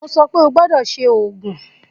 Mo sọ pe, o gbọdọ ṣe oogun!